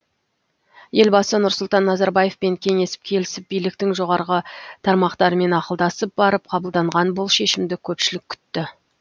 елбасы нұрсұлтан назарбаевпен кеңесіп келісіп биліктің жоғарғы тармақтарымен ақылдасып барып қабылданған бұл шешімді көпшілік күтті